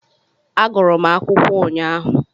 Agụrụ m akwụkwọ ụnyaahụ